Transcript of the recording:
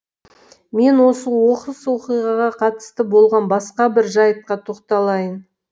мен осы оқыс оқиғаға қатысты болған басқа бір жайтқа тоқталайын